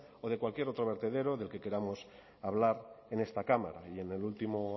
o de cualquier otro vertedero del que queramos hablar en esta cámara y en el último